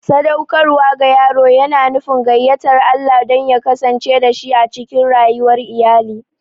Sadaukarwa ga yaro yana nufin gayyatar Allah don ya kasance dashi a cikin rayuwar iyali.